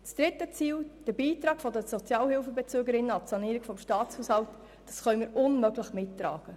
Das dritte Ziel, der Beitrag der Sozialhilfebezügerinnen und bezügern an die Sanierung des Staatshaushalts, können wir unmöglich mittragen.